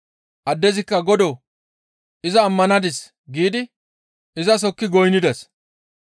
Addezikka, «Godoo! Iza ammanadis» giidi izas hokki goynnides.